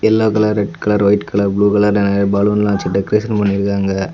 Yellow colour red colour white colour blue கலர்னு நெறய பலூன்லாம் வச்சி டெகரேசன் பன்னிருகாங்க.